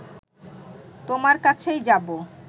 তোমার কাছেই যাবো